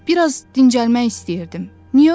Bir az dincəlmək istəyirdim.